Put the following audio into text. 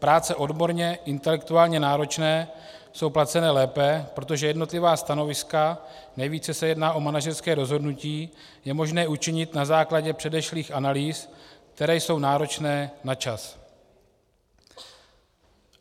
Práce odborně, intelektuálně náročné jsou placeny lépe, protože jednotlivá stanoviska, nejvíce se jedná o manažerská rozhodnutí, je možné učinit na základě předešlých analýz, které jsou náročné na čas.